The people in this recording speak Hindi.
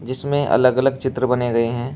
जिसमें अलग अलग चित्र बने हुए हैं।